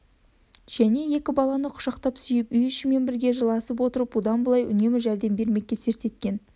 және екі баланы құшақтап сүйіп үй ішімен бірге жыласып отырып бұдан былай үнемі жәрдем бермекке серт еткен